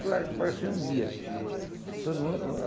Claro que apareceu um dia. Todo mundo o